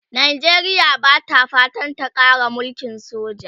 Najeriya Bata fatan ta Kara mulkin soja